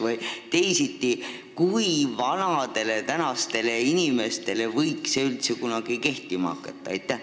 Küsin teisiti: kui vanad on täna need inimesed, kelle kohta võiks see kunagi üldse kehtima hakata?